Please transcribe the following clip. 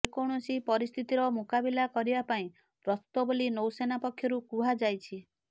ଯେକୌଣସି ପରିସ୍ଥିତିର ମୁକାବିଲା କରିବା ପାଇଁ ପ୍ରସ୍ତୁତ ବୋଲି ନୌସେନା ପକ୍ଷରୁ କୁହାଯାଇଛି